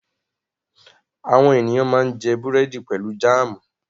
Àwọn ènìyàn máa jẹ búrẹ́dì pẹ̀lú jáámù.